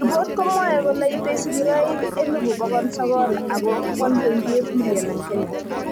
Ripot komwoe kole ite sigiroik 900,000 akoo 1.8 million eng Kenya